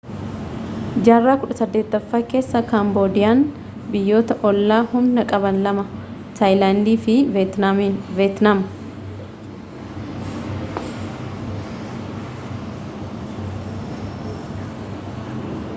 jaarraa 18ffaa keessa kaamboodiyaan biyyoota oollaa humna qaban lama taayilaandi fi veetnaam